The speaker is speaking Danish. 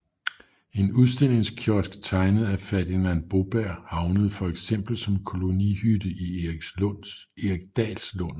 En udstillingskiosk tegnet af Ferdinand Boberg havnede for eksempel som kolonihytte i Eriksdalslunden